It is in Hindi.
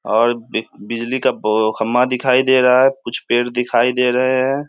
और बि बिजली का बो खम्बा दिखाई दे रहा है कुछ पेड़ दिखाई दे रहे है ।